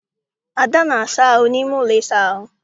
Ada na-asa ahụ n'ime ụlọ ịsa ahụ.